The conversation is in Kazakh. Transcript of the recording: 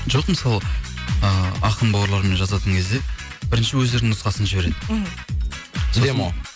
жоқ мысалы ы ақын бауырлармен жазатын кезде бірінші өздерінің нұсқасын жібереді мхм